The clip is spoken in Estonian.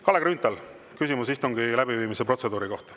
Kalle Grünthal, küsimus istungi läbiviimise protseduuri kohta.